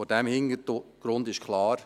Vor diesem Hintergrund ist klar: